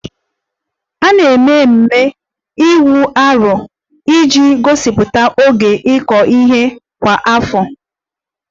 A na-eme ememe Igu Aro iji gosipụta oge ịkụ ihe kwa afọ